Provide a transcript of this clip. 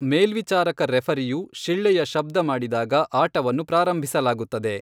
ಮೇಲ್ವಿಚಾರಕ ರೆಫರಿಯು ಶಿಳ್ಳೆಯ ಶಬ್ದ ಮಾಡಿದಾಗ ಆಟವನ್ನು ಪ್ರಾರಂಭಿಸಲಾಗುತ್ತದೆ.